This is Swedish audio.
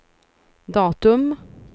datum